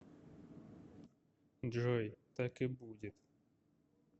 джой так и будет